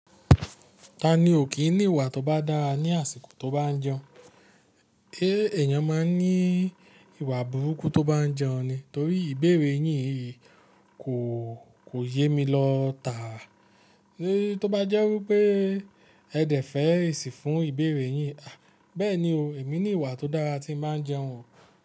Ta ni ò kín ní ìwà tó bá dára ní àsìkò tó bá n jẹun? Ṣé èèyàn máa ń ní ìwà burúkú tó bá jẹun ni? Torí ìbèrè yín yìí kò, kò yémi lọ tàá. Tó bá jẹ́ wípé ẹ dẹ̀ fẹ̀ esi fún ìbèrè yín. A! Bẹ́ẹ̀ni o, èmi ní ìwà tó dára tí n bà ń jẹun o.